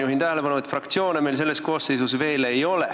Juhin tähelepanu, et fraktsioone meil selles koosseisus veel ei ole.